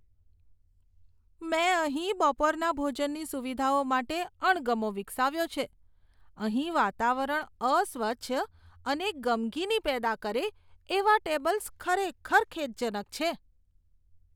મેં અહીં બપોરના ભોજનની સુવિધાઓ માટે અણગમો વિકસાવ્યો છે અહીં વાતાવરણ અસ્વચ્છ અને ગમગીની પેદા કરે એવાં ટેબલ્સ ખરેખર ખેદજનક છે.